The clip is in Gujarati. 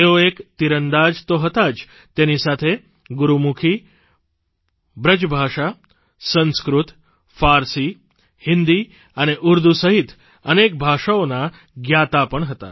તેઓ એક તીરંદાજ તો હતા જ તેની સાથે ગુરૂમુખી બ્રજભાષા સંસ્કૃત ફારસી હિન્દી અને ઉર્દુ સહિત અનેક ભાષાઓના જ્ઞાતા પણ હતા